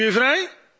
Komen die weer vrij?